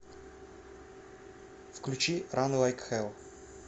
включи ран лайк хэл